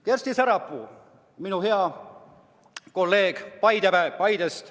Kersti Sarapuu, minu hea kolleeg Paidest!